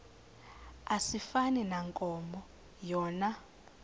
asifani nankomo yona